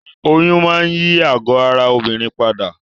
Oyún máa n yí àgọ́ ara obìnrin padà